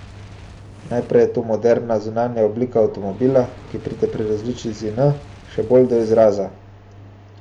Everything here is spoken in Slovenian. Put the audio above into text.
Najprej je to moderna zunanja oblika avtomobila, ki pride pri različici N še bolj do izraza.